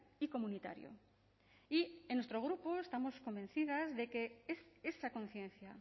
y comunitario y en nuestro grupo estamos convencidas de que esa conciencia